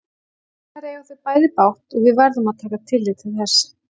Hins vegar eiga þau bæði bágt og við verðum að taka tillit til þess.